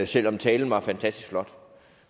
selv om talen var fantastisk flot